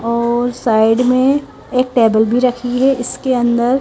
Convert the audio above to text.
और साइड में एक टेबल भी रखी है इसके अंदर--